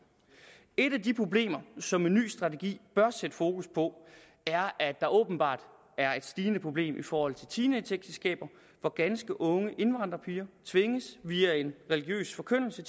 et af de problemer som en ny strategi bør sætte fokus på er at der åbenbart er et stigende problem i forhold til teenageægteskaber hvor ganske unge indvandrerpiger via en religiøs forkyndelse